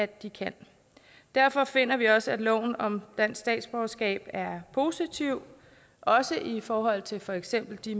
de kan derfor finder vi også at loven om dansk statsborgerskab er positiv også i forhold til for eksempel de